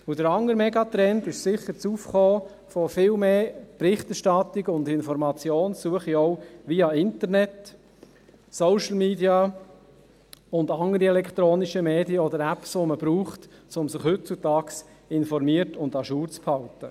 Der andere Megatrend ist sicher das Aufkommen von viel mehr Berichterstattungen und Informationssuchen via Internet, Social Media und andere elektronische Medien oder Apps, die man verwendet, um sich heutzutage informiert und à jour zu halten.